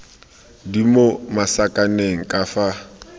di mo masakaneng ka fa